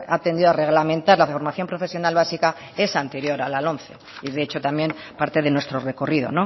ha tendido a reglamentar la formación profesional básica es anterior a al lomce y de hecho también parte de nuestro recorrido